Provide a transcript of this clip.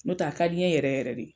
N' o tɛ a ka di n ɲɛ yɛrɛ yɛrɛ de.